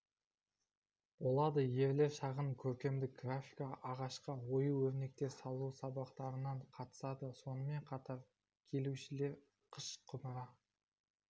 болады ерлер шағын көркемдік графика ағашқа ою-өрнектер салу сабақтарына қатысады сонымен қатар келушілер қыш құмыра